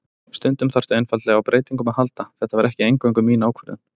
Stundum þarftu einfaldlega á breytingum að halda, þetta var ekki eingöngu mín ákvörðun.